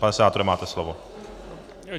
Pane senátore, máte slovo.